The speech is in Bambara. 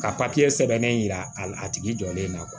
Ka papiye sɛbɛn a tigi jɔlen na